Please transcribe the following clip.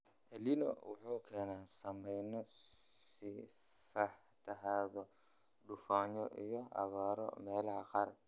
Elnino wuxuu keenaa saameyno sida fatahaado, duufaano iyo abaaro meelaha qaar.